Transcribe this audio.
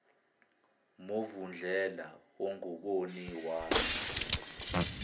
movundlela ongaboni wagci